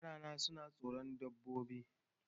Yarana suna tsoron dodonni.